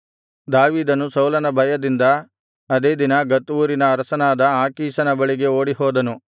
ದಾವೀದನನು ಸೌಲನ ಭಯದಿಂದ ಅದೇ ದಿನ ಗತ್ ಊರಿನ ಅರಸನಾದ ಆಕೀಷನ ಬಳಿಗೆ ಓಡಿಹೋದನು